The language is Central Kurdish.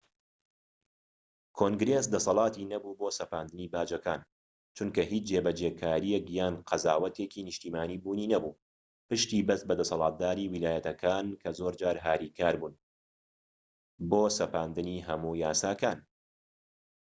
کۆنگرێس دەسەلاتی نەبوو بۆ سەپاندنی باجەکان چونکە هیچ جێبەجێکارێك یان قەزاوەتێکی نیشتیمانی بوونی نەبوو پشتی بەست بە دەسەڵاتدارانی ویلایەتەکان کە زۆرجار هاریکار نەبوون بۆ سەپاندنی هەموو یاساکان